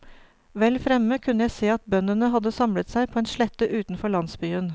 Vel fremme kunne jeg se at bøndene hadde samlet seg på en slette utenfor landsbyen.